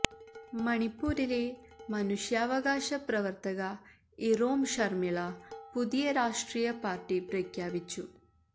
മണിപ്പൂരിലെ മനുഷ്യാവകാശ പ്രവർത്തക ഇറോം ശർമിള പുതിയ രാഷ്ട്രീയ പാർട്ടി പ്രഖ്യാപിച്ചു